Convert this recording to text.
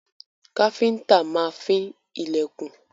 Káfíńńtà máa fín ilẹ̀kùn.